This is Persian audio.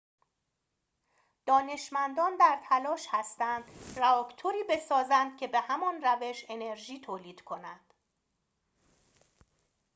دانشمندان در تلاش هستند رآکتوری بسازند که به همان روش انرژی تولید کند